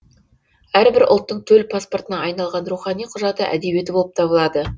әрбір ұлттың төл паспортына айналған рухани құжаты әдебиеті болып табылады